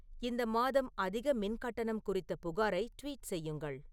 இந்த மாதம் அதிக மின் கட்டணம் குறித்த புகாரை ட்வீட் செய்யுங்கள்